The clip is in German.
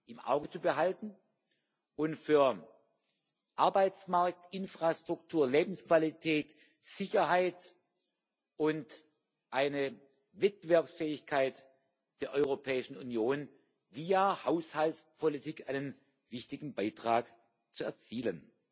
im Auge zu behalten und für Arbeitsmarkt, Infrastruktur, Lebensqualität, Sicherheit und eine Wettbewerbsfähigkeit der Europäischen Union via Haushaltspolitik einen wichtigen Beitrag zu erzielen.